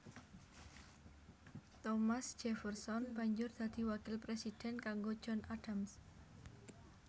Thomas Jefferson banjur dadi wakil presiden kanggo John Adams